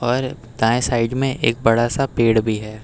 पर दाएं साइड में एक बड़ा सा पेड़ भी है।